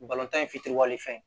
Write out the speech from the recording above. in fitiriwale fɛn